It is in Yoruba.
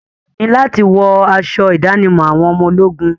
Iyì ni láti wọ aṣọ ìdánimọ̀ àwọn ọmọ ológun.